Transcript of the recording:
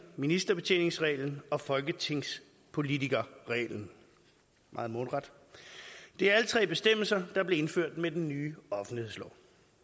ministerbetjeningsreglen og folketingspolitikerreglen meget mundret det er alle tre bestemmelser der blev indført med den nye offentlighedslov